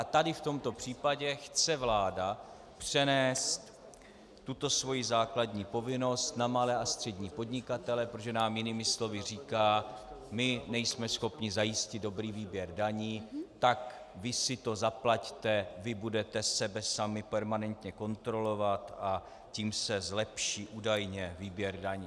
A tady v tomto případě chce vláda přenést tuto svoji základní povinnost na malé a střední podnikatele, protože nám jinými slovy říká: My nejsme schopni zajistit dobrý výběr daní, tak vy si to zaplaťte, vy budete sebe sami permanentně kontrolovat, a tím se zlepší údajně výběr daní.